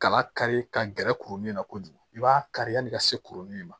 Kala kari ka gɛrɛ kurunin na kojugu i b'a kari yani ka se kuruni ma